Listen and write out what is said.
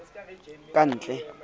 kantle e ne e le